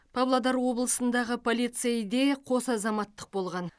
павлодар облысындағы полицейде қос азаматтық болған